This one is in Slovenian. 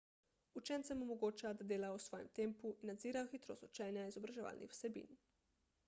učencem omogoča da delajo v svojem tempu in nadzirajo hitrost učenja izobraževalnih vsebin